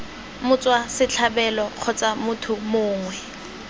motswa setlhabelo kgotsa motho mongwe